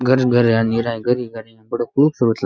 घर ही घर है नीरा घर घर बड़ो खूबसूरत लाग रयो --